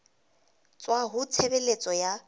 tswa ho ba tshebeletso ya